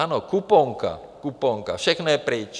Ano, kuponka, kuponka, všechno je pryč.